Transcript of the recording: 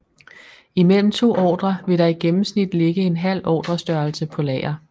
I mellem to ordrer vil der i gennemsnit ligge en halv ordrestørrelse på lager